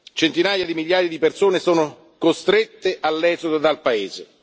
Centinaia di migliaia di persone sono costrette all'esodo dal